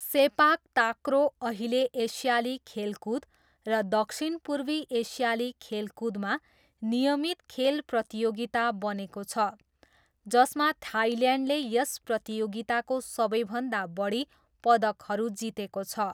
सेपाक takraw अहिले एसियाली खेलकुद र दक्षिणपूर्वी एसियाली खेलकुदमा नियमित खेल प्रतियोगिता बनेको छ, जसमा थाइल्यान्डले यस प्रतियोगिताको सबैभन्दा बढी पदकहरू जितेको छ।